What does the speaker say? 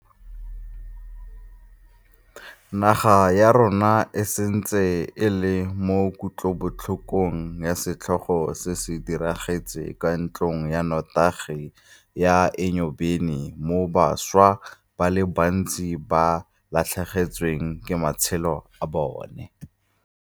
Naga ya rona e santse e le mo kutlobotlhokong ya setlhogo se se diragetseng kwa ntlong ya notagi ya Enyobeni moo bašwa ba le bantsi ba latlhegetsweng ke matshelo a bona.